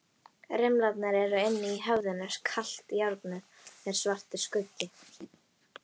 Rimlarnir eru inni í höfðinu, kalt járnið er svartur skuggi.